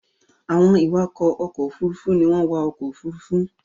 Àwọn iwakọ ọkọ òfurufú ní wón wá ọkọ òfurufú